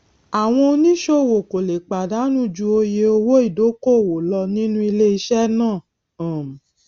àwọn oníṣòwò kò lè pàdánù ju oye owó ìdókòwò lọ nínú iléiṣẹ náà um